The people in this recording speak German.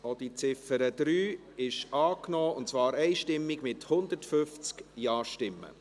Sie haben auch die Ziffer 3 dieser Motion einstimmig angenommen, mit 150 Ja-Stimmen.